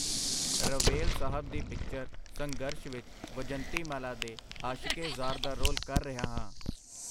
ਰਵੇਲ ਸਾਹਬ ਦੀ ਪਿਕਚਰ, ਸੰਘਰਸ਼ ਵਿਚ ਵਿਜੰਤੀਮਾਲਾ ਦੇ ਆਸ਼ਿਕੇ-ਜ਼ਾਰ ਦਾ ਰੋਲ ਕਰ ਰਿਹਾ ਹਾਂ.